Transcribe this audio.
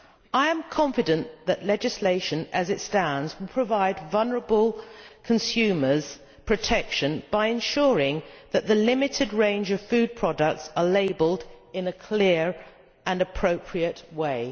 I am confident that the legislation as it stands will provide vulnerable consumers with protection by ensuring that the limited range of food products is labelled in a clear and appropriate way.